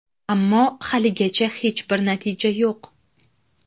Ammo, haligacha hech bir natija yo‘q.